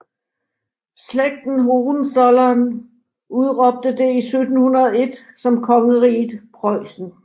Slægten Hohenzollern udråbte det i 1701 som kongeriget Preussen